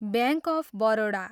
bank of Baroda